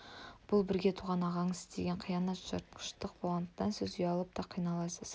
ол бірге туған ағаңыз істеген қиянат жыртқыштық болғандықтан сіз ұялып та қиналасыз